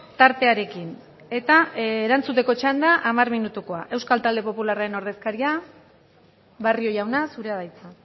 tartearekin eta erantzuteko txanda hamar minutukoa euskal talde popularraren ordezkaria barrio jauna zurea da hitza